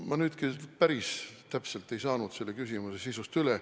Ma nüüd küll päris täpselt ei saanud selle küsimuse sisust aru.